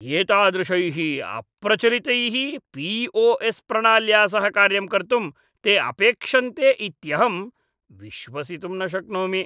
एतादृशैः अप्रचलितैः पी.ओ.एस्. प्रणाल्या सह कार्यं कर्तुं ते अपेक्षन्ते इत्यहं विश्वसितुं न शक्नोमि।